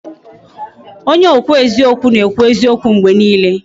Onye okwu eziokwu na ekwu eziokwu mgbe niile